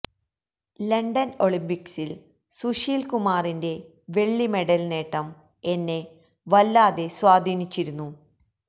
London ഒളിമ്പിക്സില് സുശീല് കുമാറിന്റെ വെള്ളി മെഡല് നേട്ടം എന്നെ വല്ലാതെ സ്വാധീനിച്ചിരുന്നു